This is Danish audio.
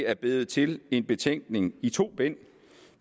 er blevet til en betænkning i to bind